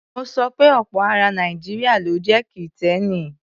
Mo sọ pe ọ̀pọ̀ ara Nàìjíríà ló jẹ́ Kìtẹ́ẹ́nì.